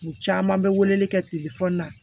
U caman bɛ weleli kɛ telefɔni na